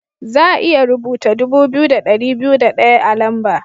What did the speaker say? Za'a iya rubuta dubu biyu da dari biyu da daya a'lamba.